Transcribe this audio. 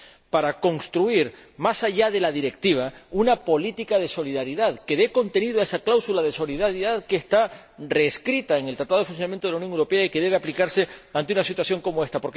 para construir, más allá de la Directiva, una política de solidaridad que dé contenido a esa cláusula de solidaridad que está reescrita en el Tratado de Funcionamiento de la Unión Europea y que debe aplicarse ante una situación como esta.